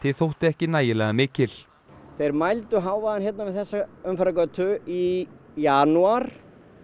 þótti ekki nægilega mikil þeir mældu hávaðann við þessa umferðargötu í janúar